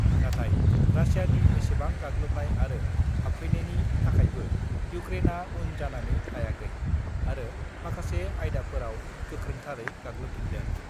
नाथाय रासियानि एसेबां गाग्लोबनाय आरो हाबफैनायनि थाखायबो इउक्रेनआ उन जानानै थायाखै आरो माखासे आयदाफोराव गोख्रोंथारै गाग्लोबफिन्दों।